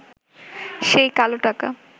সেই কালো টাকা